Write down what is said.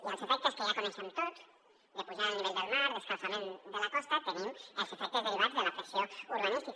i en els efectes que ja coneixem tots de pujada del nivell del mar d’escalfament de la costa hi tenim els efectes derivats de la pressió urbanística